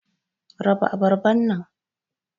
raba abarban nan.